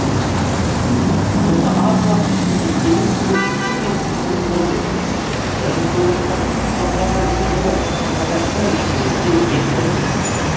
осы аз уақыт ішінде еліміз көптеген жетістікке қол жеткізді бір мың тоғ ыз жүз тоқсан бірінші жылы қазақстан егеменді ел болды